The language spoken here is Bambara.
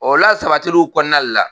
O lasabatiliw kɔnɔna de la